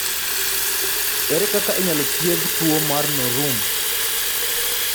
Ere kaka inyalo thiedh tuwo mar Norum?